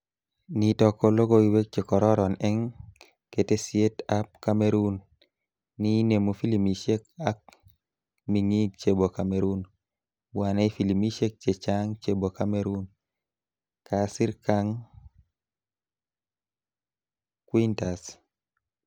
Nitok ko lokoiwek chekororon eng ketesiet ab Cameroon ni inemu filimishek ak ming'ing chebo Cameroon... bwanei filimishek checha'ng chebo cameroon," kasir Kang Quintas.